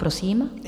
Prosím.